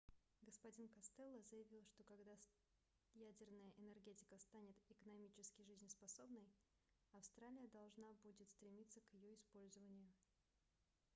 г-н костелло заявил что когда ядерная энергетика станет экономически жизнеспособной австралия должна будет стремиться к её использованию